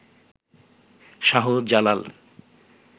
Shahjalal